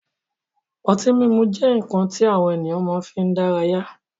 Ọtí mímu jẹ́ nkan ti àwọn ènìyàn máa fi ń dára yá